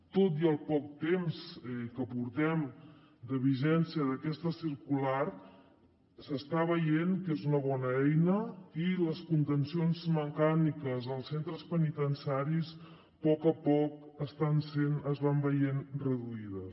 tot i el poc temps que portem de vigència d’aquesta circular s’està veient que és una bona eina i les contencions mecàniques als centres penitenciaris a poc a poc es van veient reduïdes